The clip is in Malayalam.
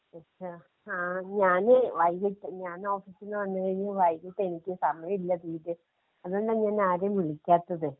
*നോട്ട്‌ ക്ലിയർ* ആഹ് ഞാന് വൈകീട്ട്, ഞാനോഫീസിന്ന് വന്ന് കഴിഞ്ഞ് വൈകീട്ടെനിക്ക് സമയല്ല തീരെ. അത് കൊണ്ടാ ഞാനാരെയും വിളിക്കാത്തത്.